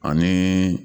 Ani